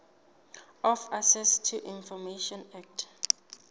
of access to information act